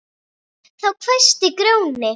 Þá hvæsti Grjóni